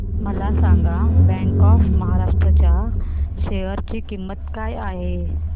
मला सांगा bank of Maharashtra च्या शेअर ची किंमत काय आहे